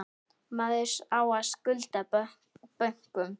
Maður á að skulda bönkum.